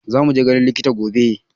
Za mu je ganin likita gobe